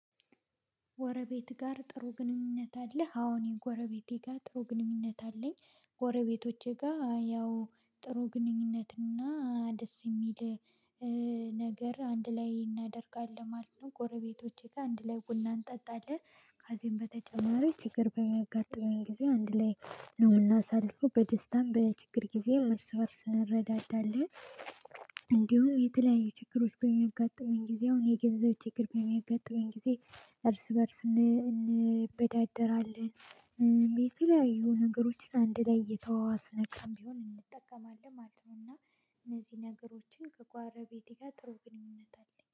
ጎረቤት ጋር ጥሩ ግንኙነት አለህ? አወ እኔ ጎረቤቴ ጋር ጥሩ ግንኙነት አለኝ ጎረቤቶቼ ጋር ያው ጥሩ ግንኙነት እና ደስ የሚል ነገር አንድ ላይ እናደርጋለን ማለት ነው። ጎረቤቶቼ ጋር አንድ ላይ ቡና እንጠጣለን ከዚህም በተጨማሪ ችግር በሚያጋጥመን ጊዜ አንድ ላይ ነው የምናሳልፈው በደስታም በችግር ጊዜ እርስ እርስ እንረዳዳለን። እንዲሁም የተለያዩ ችግሮች በሚያጋጥመን ጊዜ አሁን የገንዘብ ችግር በሚያጋጥመን ጊዜ እርስ በእርስ እንበዳደራለን። የተለያዩ ነገሮች አንድ ላይ እየተዋዋስን ካለን እንጠቀማለን ማለት ነው። እና እነዚህ ነገሮችን ከጎረቤቴ ጋር ጥሩ ግንኙነት አለኝ